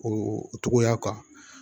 O togoya kan